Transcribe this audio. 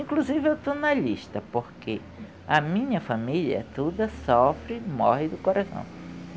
Inclusive eu estou na lista porque a minha família toda sofre, morre do coração.